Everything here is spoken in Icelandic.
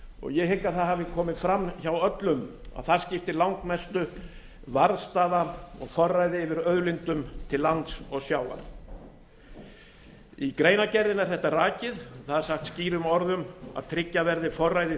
ég hygg að það hafi komið fram hjá öllum að þar skipti langmestu varðstaða og forræði yfir auðlindum á lands og sjávar í greinargerðinni er þetta rakið þar er sagt skýrum orðum að tryggja verði forræði